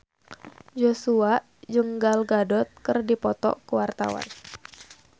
Joshua jeung Gal Gadot keur dipoto ku wartawan